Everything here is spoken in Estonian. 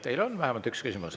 Teile on vähemalt üks küsimus.